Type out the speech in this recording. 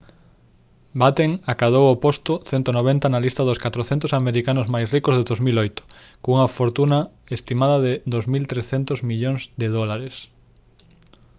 batten acadou o posto 190 na lista dos 400 americanos máis ricos de 2008 cunha fortuna estimada de 2300 millóns de dólares